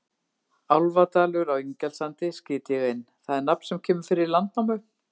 Álfadalur á Ingjaldssandi, skýt ég inn, það er nafn sem kemur fyrir í Landnámu.